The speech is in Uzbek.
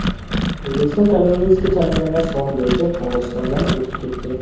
O‘zbekiston koronavirusga chalinganlar soni bo‘yicha Qirg‘izistondan o‘tib ketdi.